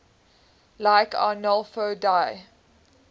like arnolfo di